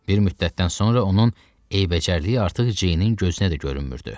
Bir müddətdən sonra onun eybəcərliyi artıq Ceynin gözünə də görünmürdü.